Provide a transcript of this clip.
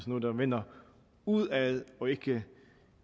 noget der vender udad og ikke